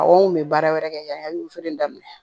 Aw kun bɛ baara wɛrɛ kɛ yanni wufeere daminɛ